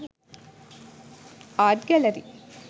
art gallery